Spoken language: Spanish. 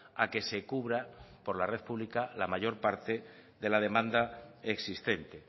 a que se cubra por la red pública la mayor parte de la demanda existente